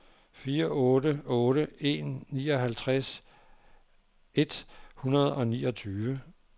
fire otte otte en nioghalvtreds et hundrede og niogtyve